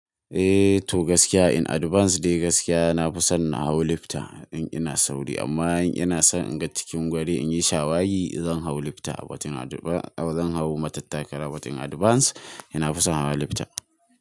Toh gaskiya in advance dai gaskiya na fi son na hau lifta in ina sauri amma in ina son in ga cikin guri in yi shawagi zan hau lifta but in advance zan hau matattakala but in advance ina fi son hawa lifta.